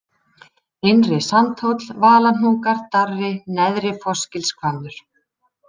Innri-Sandhóll, Valahnúkar, Darri, Neðri-Fossgilshvammur